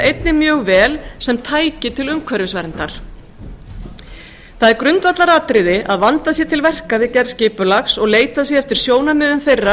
einnig mjög vel sem tæki til umhverfisverndar það er grundvallaratriði að vandað sé til verka við gerð skipulags og leitað sé eftir sjónarmiðum þeirra